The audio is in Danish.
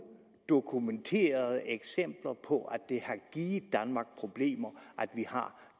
dokumenterede eksempler på at det har givet danmark problemer at vi har